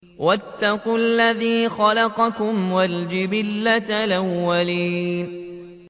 وَاتَّقُوا الَّذِي خَلَقَكُمْ وَالْجِبِلَّةَ الْأَوَّلِينَ